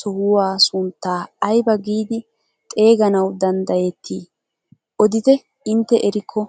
sohuwaa sunttaa aybaa giidi xeeganawu danddayetii odite erikko?